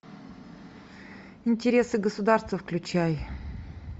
интересы государства включай